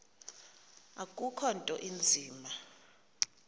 akukho nto inzima